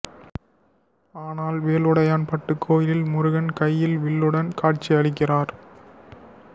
ஆனால் வேலுடையான்பட்டு கோயிலில் முருகன் கையில் வில்லுடன் காட்சி அளிக்கிறார்